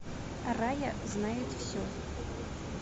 рая знает все